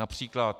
Například...